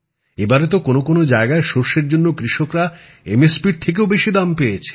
এবারে তো কোন কোন জায়গায় সরষের জন্য কৃষকরা ন্যূনতম সহায়ক মূল্যের থেকেও বেশি দাম পেয়েছে